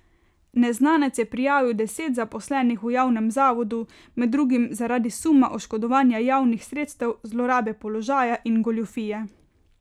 Neznanec je prijavil deset zaposlenih v javnem zavodu, med drugim zaradi suma oškodovanja javnih sredstev, zlorabe položaja in goljufije.